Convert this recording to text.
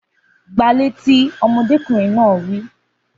Gba a létí! Ọmọdékùnrin náà wí